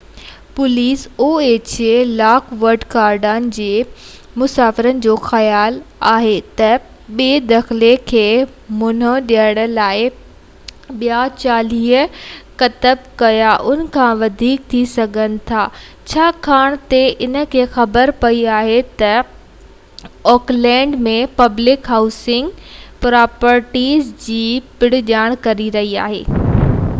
lock wood Garden جي مسواڙين جو خيال آهي تہ بي دخلي کي منهن ڏيڻ لاءِ ٻيا 40 ڪٽنب يا ان کان وڌيڪ ٿي سگهن ٿا ڇاڪاڻ تہ انهن کي خبر پئي آهي تہ oha پوليس اوڪلينڊ م پبلڪ هائوسنگ پراپرٽيز جي پڻ جاچ ڪري رهئي آهي جيڪو هائوسنگ اسڪيم ۾ ڦاسي سگهن ٿيون